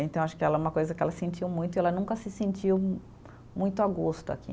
Então, acho que ela é uma coisa que ela sentiu muito e ela nunca se sentiu muito a gosto aqui.